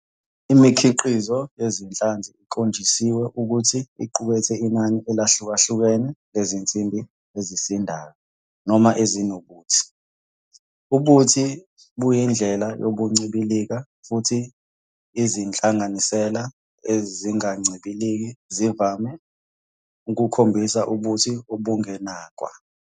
Imikhiqizo yezinhlanzi ikhonjisiwe ukuthi iqukethe inani elihlukahlukene lezinsimbi ezisindayo noma ezinobuthi. Ubuthi buyindlela yokuncibilika, futhi izinhlanganisela ezingancibiliki zivame ukukhombisa ubuthi obungenakwa.